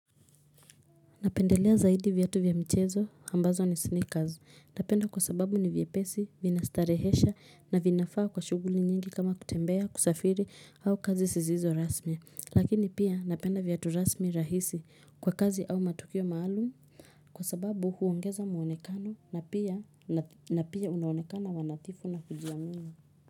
Ninapendelea zaidi viatu vya mchezo ambazo ni sneakers ninapenda kwa sababu ni vyepesi, vinastarehesha na vinafaa kwa shughuli nyingi kama kutembea, kusafiri au kazi sizizo rasmi, lakini pia napenda viatu rasmi rahisi kwa kazi au matukio maalumu Kwa sababu huongeza muonekano na pia na pia unaonekana wanadhifu na kujiamini.